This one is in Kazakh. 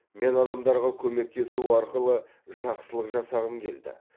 мен адамдарға көмектесу арқылы жақсылық жасағым келді